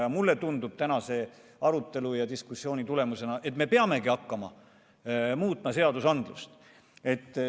Ja mulle tundub tänase arutelu ja diskussiooni tulemusena, et me peamegi hakkama seadusandlust muutma.